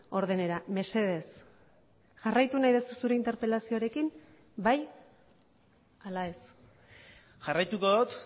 ordenera mesedez jarraitu nahi duzu zure interpelazioarekin bai ala ez jarraituko dut